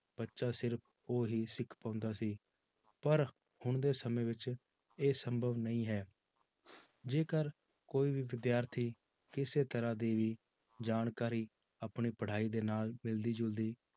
ਬੱਚਾ ਸਿਰਫ਼ ਉਹ ਹੀ ਸਿੱਖ ਪਾਉਂਦਾ ਸੀ ਪਰ ਹੁਣ ਦੇ ਸਮੇਂ ਵਿੱਚ ਇਹ ਸੰਭਵ ਨਹੀਂ ਹੈ ਜੇਕਰ ਕੋਈ ਵੀ ਵਿਦਿਆਰਥੀ ਕਿਸੇ ਤਰ੍ਹਾਂ ਦੀ ਜਾਣਕਾਰੀ ਆਪਣੀ ਪੜ੍ਹਾਈ ਦੇ ਨਾਲ ਮਿਲਦੀ ਜੁਲਦੀ